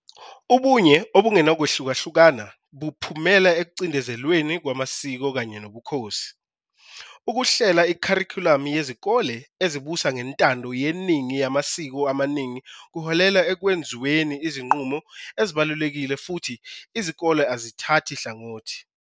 Ubunye obungenakwehlukahlukana buphumela ekucindezelweni kwamasiko kanye nobukhosi. Ukuhlela ikharikhulamu yezikole ezibusa ngentando yeningi yamasiko amaningi kuholela ekwenzweni izinqumo ezibalulekile futhi izikole azithathi hlangothi.